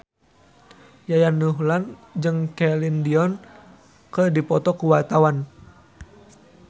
Yayan Ruhlan jeung Celine Dion keur dipoto ku wartawan